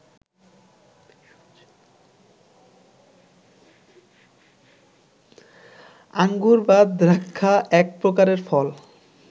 আঙ্গুর বা দ্রাক্ষা এক প্রকারের ফল